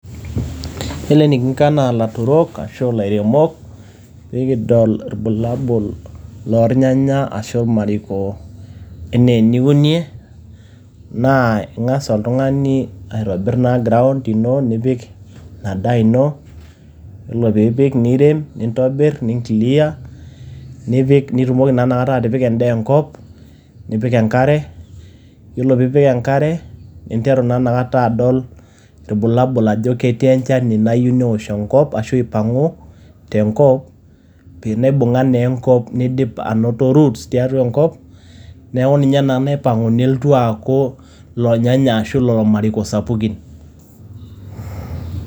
Iyiolo enikinko anaa ilaturok ashu anaa ilairemok, pee kidol ilbulabul loo ilnyanya ashu ilmariko enaa eniunie, naa ing'as oltung'ani aitobir naa ground ino nipik ina daa ino, iyiolo pee ipik nirem niclear. nitumoki naa atipika endaa enkop, nipik enkare iyiolo pee ipik enkare ninteru naa inakata adol, ilbulabul ajo ketii enchani nayieu neosh enkop ashu aipang'u tenkop teneibung'a naa enkop neidip anoto roots tiatua enkop. Neaku ninye naa naipang'u nelotu aaku, ilonyanya ashu ilo mariko sapukin,